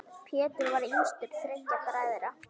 Pétur var yngstur þriggja bræðra.